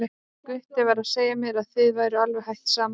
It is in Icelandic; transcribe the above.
Gutti var að segja mér að þið væruð alveg hætt saman.